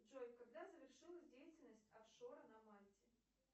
джой когда завершилась деятельность офшора на мальте